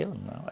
Eu não.